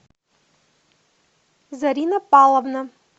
зарина павловна